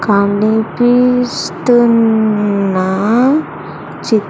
కనిపిస్తున్న చి--